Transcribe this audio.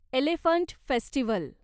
elephant festival